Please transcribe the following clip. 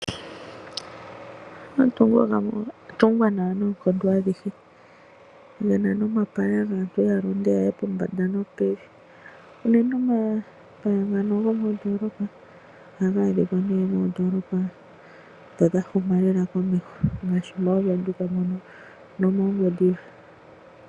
Omatungo gamwe oga tungwa nawa noonkondo adhihe ge na nomapaya gaantu ya londe ya ye pombanda nopevi. Unene omapaya ngano gomoondoolopa ohaga adhikwa nee moondoolopa ndho dha huma lela komeho ngaashi mooVenduka nomooNgwediva.